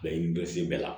Laɲini dɔ sen bɛ la